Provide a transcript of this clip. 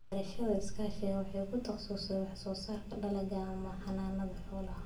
Beerashada iskaashatada waxay ku takhasustay wax soo saarka dalagga ama xanaanada xoolaha.